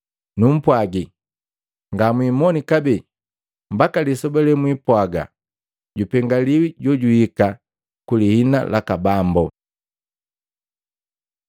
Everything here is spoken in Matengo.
Numpwaji ngamwimoni kabee mbaka lisoba lemwipwaaga, ‘Jupengilika jojuhika ku lihina laka Bambo.’ ”